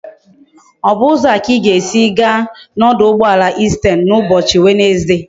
O bu uzo a ka i ga esi gaa na oduugboala Eastern na ubochi Wednesday?